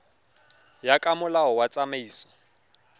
ya ka molao wa tsamaiso